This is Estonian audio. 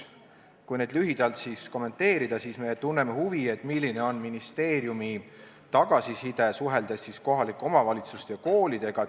Kui neid lühidalt kommenteerida, siis me tunneme huvi selle vastu, milline on ministeeriumi tagasiside, suheldes kohalike omavalitsuste ja koolidega.